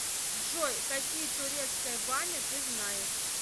джой какие турецкая баня ты знаешь